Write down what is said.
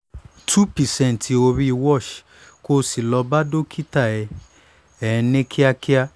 two percent orí wash kó o sì lọ bá dókítà ẹ ẹ ní kíákíá